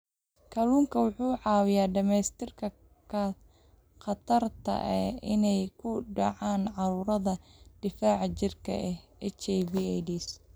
Kalluunku wuxuu caawiyaa dhimista khatarta ah inay ku dhacaan cudurrada difaaca jirka sida HIV/AIDS.